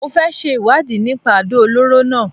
Mo fẹ ṣe ìwádìí nípa àdó olóró náà